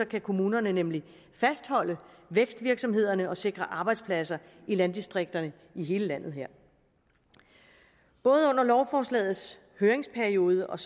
kan kommunerne nemlig fastholde vækstvirksomhederne og sikre arbejdspladser i landdistrikterne i hele landet både under lovforslagets høringsperiode og